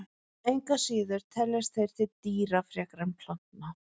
Engu að síður teljast þeir til dýra frekar en plantna.